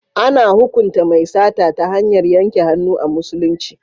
A na hukunta mai sata ta hanyar yanke hannu a musulunci.